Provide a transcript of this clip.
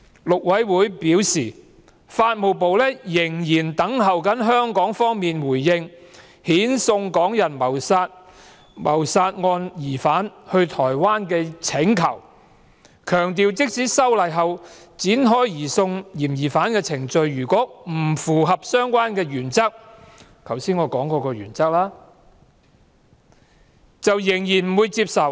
陸委會表示，法務部仍在等候香港方面的回應遣送港人謀殺案疑犯到台灣的請求，強調即使修例後展開移送嫌疑犯的程序，如果程序不符合我剛才提過的相關原則，台灣仍然不會接受。